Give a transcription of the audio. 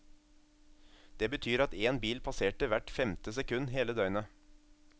Det betyr at én bil passerte hvert femte sekund hele døgnet.